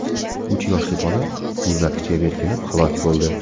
Uch yoshli bola muzlatkichga berkinib halok bo‘ldi.